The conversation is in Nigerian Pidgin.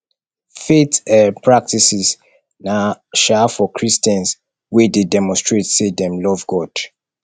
faith um practices na um for christians wey de demonstrate say dem love god